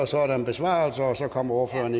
så er der en besvarelse og så kommer ordføreren